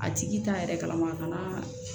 A tigi t'a yɛrɛ kalama a kana